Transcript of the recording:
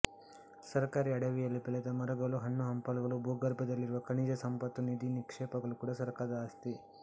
ಸರ್ಕಾರಿ ಅಡವಿಯಲ್ಲಿ ಬೆಳೆದ ಮರಗಳು ಹಣ್ಣು ಹಂಪಲುಗಳು ಭೂಗರ್ಭದಲ್ಲಿರುವ ಖನಿಜ ಸಂಪತ್ತು ನಿಧಿ ನಿಕ್ಷೇಪಗಳು ಕೂಡ ಸರ್ಕಾರದ ಆಸ್ತಿ